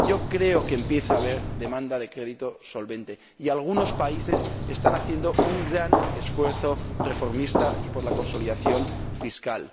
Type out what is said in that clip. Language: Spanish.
Yo creo que empieza a haber demanda de crédito solvente, y algunos países están haciendo un gran esfuerzo reformista y de consolidación fiscal.